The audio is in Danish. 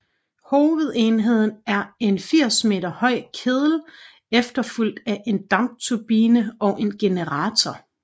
Hovedenheden er en 80 m høj kedel efterfulgt af en dampturbine og en generator